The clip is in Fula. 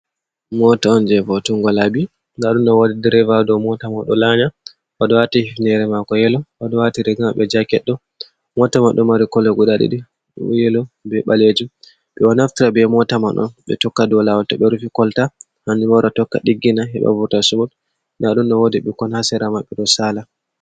Mota on je votungo labbi. nɗa ɗum ɗo woɗi ɗirival ɗo mota mai ɗo lanya. Oɗo wati hifnere mako yelo. Oɗo wati riga maɓɓe jacket ɗo. Mota mai ɗo mari kollo guɗa ɗiɗi. Yelo, ɓe ɓalejum. Ɓe ɗo naftira ɓe mota man on, ɓe tokka ɗow lawol to ɓe rufi kolta. Hanhuɓo wara tokka ɗiggina heɓa vurtal sumot. Nɗa ɗum ɗo woɗi ɓikkon ha sera maɓɓe ɗo sala.